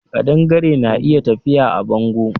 Ƙadangare na iya tafiya a bango